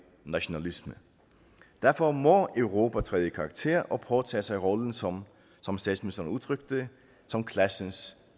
nationalisme derfor må europa træde i karakter og påtage sig rollen som som statsministeren udtrykte det som klassens